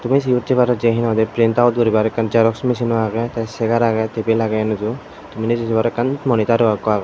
mechin tebar jey he na hoi day jerox mechin no agey cegar agey table agey enuju tumi nejay say paror moniter ro okho agey.